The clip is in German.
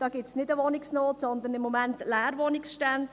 Da gibt es keine Wohnungsnot, sondern momentan eher Leerwohnungsstände.